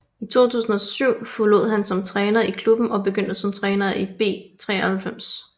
I 2007 forlod han som træner i klubben og begyndte som træner i B93